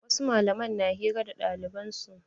Wasu malaman na hira da ɗaliban su.